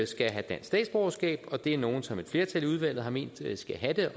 skal have dansk statsborgerskab og det er nogle som et flertal i udvalget har ment skal have det